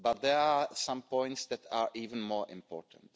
But there are some points that are even more important.